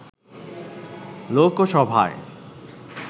লোকসভায়